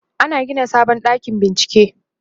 ana Gina sabon ɗakin bincike